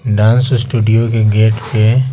dance studio के gate पे--